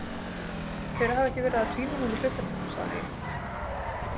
Þeir hafa ekki verið að tvínóna við hlutina, sagði ég.